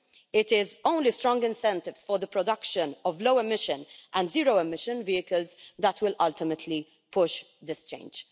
It is only strong incentives for the production of low emission and zero emission vehicles that will ultimately push this change.